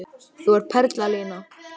Þú ert perla Lína!